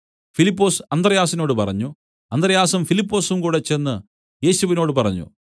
ഫിലിപ്പൊസ് ചെന്ന് അന്ത്രെയാസിനോട് പറഞ്ഞു അന്ത്രെയാസും ഫിലിപ്പൊസും കൂടെ ചെന്ന് യേശുവിനോടു പറഞ്ഞു